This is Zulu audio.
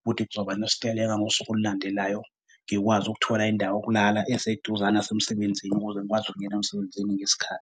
ukuthi kuzoba nesiteleka ngosuku olulandelayo ngikwazi ukuthola indawo yokulala eseduze nasemsebenzini ukuze ngikwazi ukubuyela emsebenzini ngesikhathi.